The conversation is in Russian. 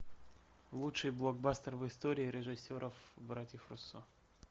лучший блокбастер в истории режиссеров братьев руссо